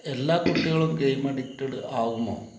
എല്ലാ കുട്ടികളും game addicted ആകുമോ?